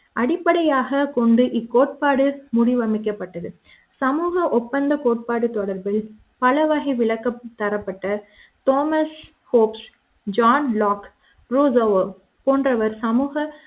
அடிப்படையாகக் கொண்டு இக் கோட்பாடு முடிவு அமைக்கப்பட்டது சமூக ஒப்பந்தக் கோட்பாடு தொடர்பில் பல வகை விளக்கம் தரப்பட்ட தாமஸ் ஹோப்ஸ் ஜான் லாக் ரூசோவோ போன்றவர் சமூக